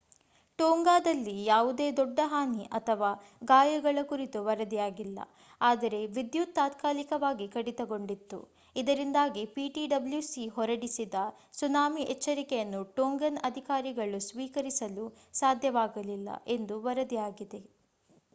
ಟೋಂಗಾದಲ್ಲಿ ಯಾವುದೇ ದೊಡ್ಡ ಹಾನಿ ಅಥವಾ ಗಾಯಗಳ ಕುರಿತು ವರದಿಯಾಗಿಲ್ಲ ಆದರೆ ವಿದ್ಯುತ್ ತಾತ್ಕಾಲಿಕವಾಗಿ ಕಡಿತಗೊಂಡಿತ್ತು ಇದರಿಂದಾಗಿ ptwc ಹೊರಡಿಸಿದ ಸುನಾಮಿ ಎಚ್ಚರಿಕೆಯನ್ನು ಟೋಂಗನ್ ಅಧಿಕಾರಿಗಳು ಸ್ವೀಕರಿಸಲು ಸಾಧ್ಯವಾಗಲಿಲ್ಲ ಎಂದು ವರದಿಯಾಗಿದೆ